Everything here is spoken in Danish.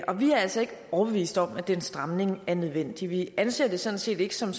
og vi er altså ikke overbevist om at den stramning er nødvendig vi anser det sådan set ikke som